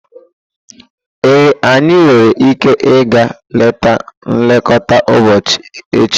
Ee, anyị nwere ike ịga leta nlekọta ụbọchị echi.